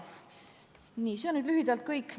Nii, see on lühidalt kõik.